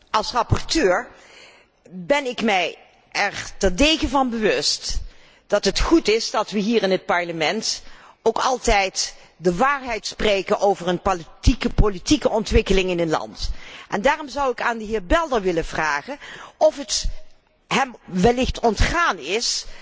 Als rapporteur ben ik mij er terdege van bewust dat het goed is dat wij hier in het Parlement ook altijd de waarheid spreken over een politieke ontwikkeling in een land. En daarom zou ik de heer Belder willen vragen of het hem wellicht ontgaan is